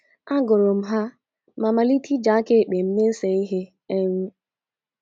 Agụrụ m ha ma malite iji aka ekpe m na - ese ihe. um